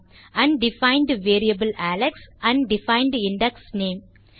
undefined variable Alex undefined index name